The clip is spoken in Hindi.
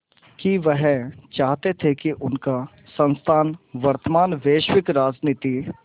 कि वह चाहते थे कि उनका संस्थान वर्तमान वैश्विक राजनीति